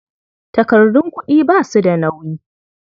Takardun kuɗi ba su da nauyi.